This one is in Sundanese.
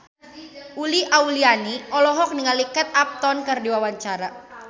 Uli Auliani olohok ningali Kate Upton keur diwawancara